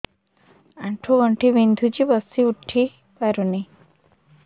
ଆଣ୍ଠୁ ଗଣ୍ଠି ବିନ୍ଧୁଛି ବସିଉଠି ପାରୁନି